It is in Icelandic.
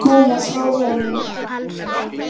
GVENDUR: Ég er að koma frá honum.